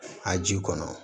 A ji kɔnɔ